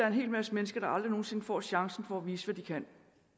en hel masse mennesker der aldrig nogen sinde får chancen for at vise hvad de kan